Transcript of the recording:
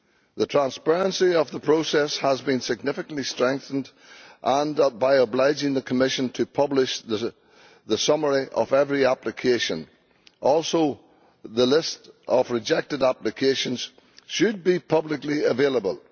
The transparency of the process has been significantly strengthened by obliging the Commission to publish the summary of every application and through the fact that the list of rejected applications should be publicly available.